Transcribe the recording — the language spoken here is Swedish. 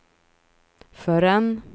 förrän